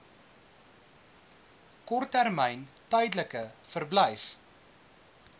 korttermyn tydelike verblyf